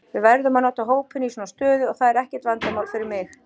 Við verðum að nota hópinn í svona stöðu og það er ekkert vandamál fyrir mig.